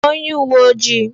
Kpọọ onye uwe ojii!